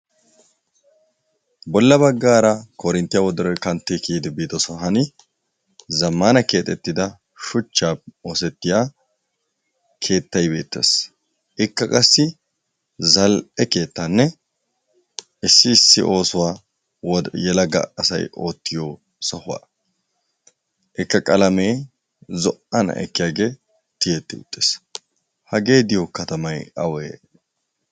Bolla baggara korinttiyaa woddoruwaa kantti kiyddi biiddo sohuwaani zamanna kexettidda shuchchape osettiyaa keettay beettes. Ikka qassi zalli'e keettanne issi issi oosuwwa yellaggay asay oottiyo sohuwaa, ikka qallamiyaani zo'anna ekkiyagge tiyetti uttis. Haggee diyo kattamay awee?